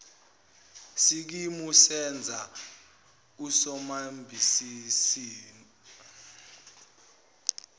sikimu senza usomabhizinisi